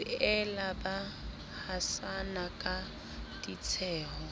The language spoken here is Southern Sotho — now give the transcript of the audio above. boela ba hasana ka ditsheho